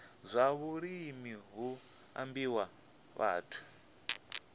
zwa vhulimi hu ambiwa vhathu